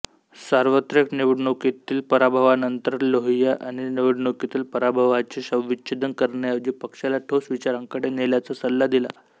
सार्वत्रिक निवडणुकीतील पराभवानंतर लोहिया यांनी निवडणुकीतील पराभवाचे शवविच्छेदन करण्याऐवजी पक्षाला ठोस विचारांकडे नेण्याचा सल्ला दिला